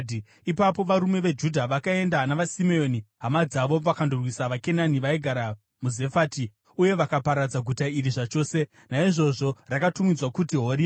Ipapo varume veJudha vakaenda navaSimeoni hama dzavo vakandorwisa vaKenani vaigara muZefati, uye vakaparadza guta iri zvachose. Naizvozvo rakatumidzwa kuti Horima.